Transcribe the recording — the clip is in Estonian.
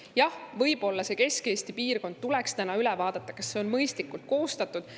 Jah, võib-olla see Kesk-Eesti piirkond tuleks üle vaadata, kas see on mõistlikult koostatud.